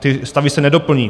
Ty stavy se nedoplní.